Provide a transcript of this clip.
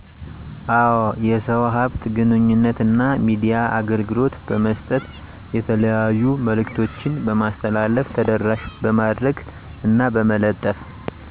አዎ። የሰው ሃብት ግንኙነት እና የሚዲያ አገልግሎት በመስጠት የተለያዩ መልዕክቶችን በማስተላለፍ ተደራሽ በማድረግ እና በመለጠፍ